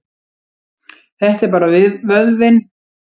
Þetta er bara vöðvinn.